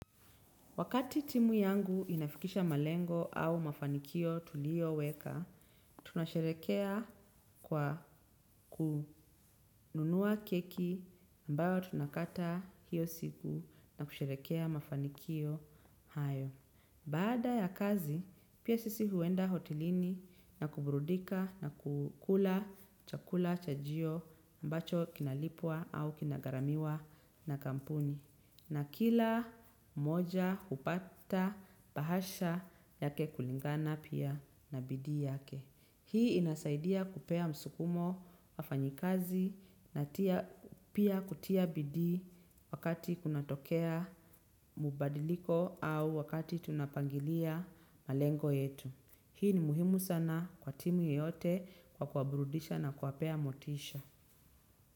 Wakati timu yangu inafikisha malengo au mafanikio tulioweka, tunasherehekea kwa kununua keki ambayo tunakata hiyo siku na kusherehekea mafanikio hayo. Baada ya kazi, pia sisi huenda hotelini na kuburudika na kukula chakula chajio ambacho kinalipwa au kinagaramiwa na kampuni. Na kila mmoja hupata bahasha yake kulingana pia na bidii yake. Hii inasaidia kupea msukumo wafanyikazi na pia kutia bidii wakati kunatokea mbadiliko au wakati tunapangilia malengo yetu. Hii ni muhimu sana kwa timu yote kwa kuwaburudisha na kuwapea motisha.